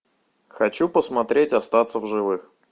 хочу посмотреть остаться в живых